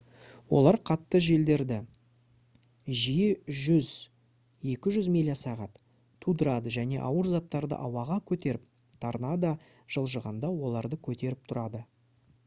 олар қатты желдерді жиі 100-200 миля/сағат тудырады және ауыр заттарды ауаға көтеріп торнадо жылжығанда оларды көтеріп тұрады